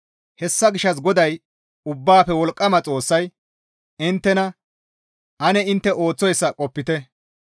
Hessa gishshas GODAY Ubbaafe Wolqqama Xoossay inttena, «Ane intte ooththoyssa qopite.